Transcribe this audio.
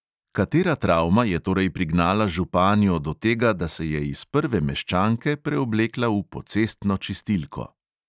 Katera travma je torej prignala županjo do tega, da se je iz prve meščanke preoblekla v pocestno čistilko?